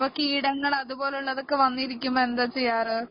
അപ്പൊ കീടങ്ങള് അതുപോലെ ഉള്ളവ വന്നിരിക്കുമ്പോ എന്താ ചെയ്യാറ്